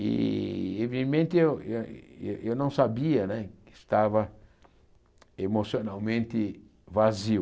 E, eviemente, eu eu eu não sabia né que estava emocionalmente vazio.